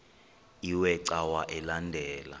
iwe cawa elandela